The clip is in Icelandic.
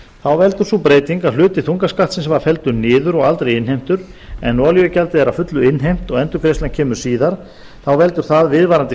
þá veldur sú breyting að hluti þungaskattsins var felldur niður og aldrei innheimtur en olíugjaldið er að fullu innheimt og endurgreiðslan kemur síðar þá veldur það viðvarandi